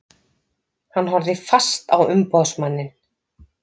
Hann horfði fast á umboðsmanninn.